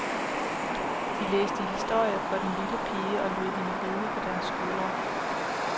De læste historier for den lille pige og lod hende ride på deres skuldre.